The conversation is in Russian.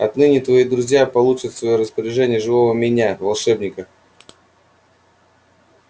отныне твои друзья получат в своё распоряжение живого меня волшебника